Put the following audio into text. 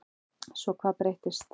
Svo hvað breyttist?